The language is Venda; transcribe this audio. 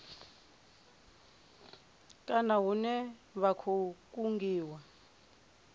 kana hune vha khou kungiwa